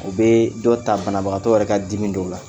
O bɛ dɔ ta banabagatɔ yɛrɛ ka dimi dɔw la